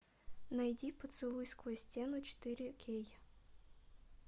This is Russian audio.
найди поцелуй сквозь стену четыре кей